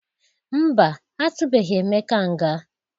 Mba, atụbeghi Emeka nga.